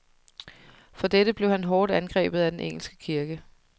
For dette blev han hårdt angrebet af den engelske kirke.